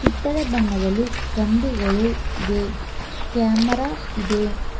ಕಿತ್ತಳೆ ಬಣ್ಣದಲ್ಲಿ ಕಂಬಿಗಳು ಇವೆ ಕ್ಯಾಮರಾ ಇದೆ.